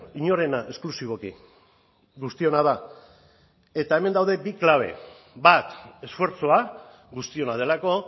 inorena esklusiboki guztiona da eta hemen daude bi klabe bat esfortzua guztiona delako